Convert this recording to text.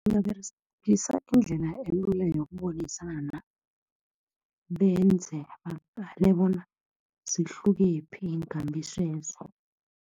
Ungaberegisa indlela elula yokubonisana. Benze baqale bona zihlukephi iinkambiso lezo.